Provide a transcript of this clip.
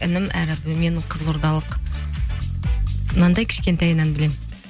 інім әрі менің қызылордалық мынандай кішкентайынан білемін